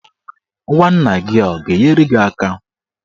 Nwanna gị a ga-enyere gị aka?